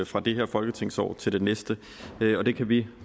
fra det her folketingsår til det næste og det kan vi